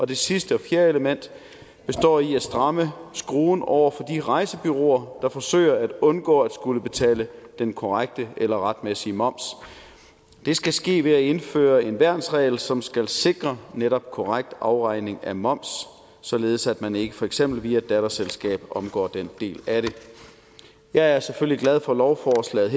det sidste og fjerde element består i at stramme skruen over for de rejsebureauer der forsøger at undgå at skulle betale den korrekte eller retmæssige moms det skal ske ved at indføre en værnsregel som skal sikre netop korrekt afregning af moms således at man ikke for eksempel via et datterselskab omgår den del af det jeg er selvfølgelig glad for lovforslaget